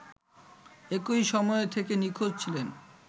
একই সময় থেকে নিখোঁজ ছিলেন